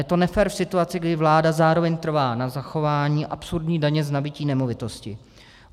Je to nefér v situaci, kdy vláda zároveň trvá na zachování absurdní daně z nabytí nemovitosti.